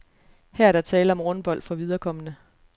Her er der tale om rundbold for viderekomne.